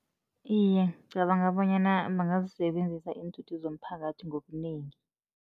Iye, ngicabanga bonyana bangazisebenzisa iinthuthi zomphakathi ngobunengi.